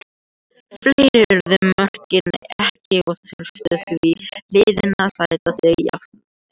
Fleiri urðu mörkin ekki og þurftu því liðin að sætta sig jafntefli.